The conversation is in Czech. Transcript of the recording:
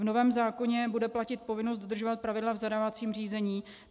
V novém zákoně bude platit povinnost dodržovat pravidla v zadávacím řízení.